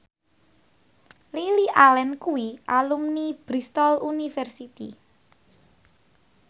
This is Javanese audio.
Lily Allen kuwi alumni Bristol university